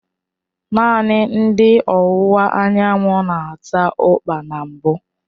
Naanị ndị ọwụwa anyanwụ na-ata ukpa na mbụ.